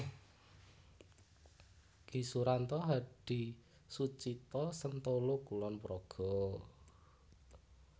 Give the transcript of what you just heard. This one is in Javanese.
Ki Suranto Hadisucito Sentolo Kulon Progo